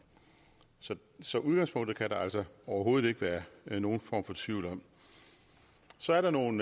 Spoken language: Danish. så så udgangspunktet kan der altså overhovedet ikke være nogen form for tvivl om så er der nogle